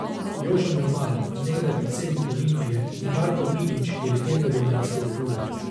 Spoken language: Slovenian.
Jože Mermal, nekdaj predsednik Olimpije, in Marko Milić, ki je legenda ljubljanskega kluba.